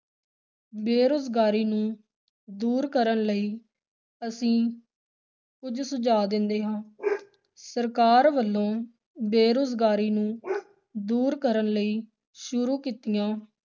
ਬੇਰੁਜ਼ਗਾਰੀ ਨੂੰ ਦੂਰ ਕਰਨ ਲਈ ਅਸੀਂ ਕੁੱਝ ਸੁਝਾ ਦਿੰਦੇ ਹਾਂ ਸਰਕਾਰ ਵਲੋਂ ਬੇਰੁਜ਼ਗਾਰੀ ਨੂੰ ਦੂਰ ਕਰਨ ਲਈ ਸ਼ੁਰੂ ਕੀਤੀਆਂ,